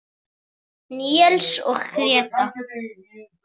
Níels og Gréta.